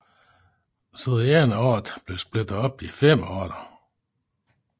Så den ene art blev splittet op i fem arter